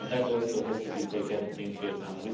This also has to be taken into account.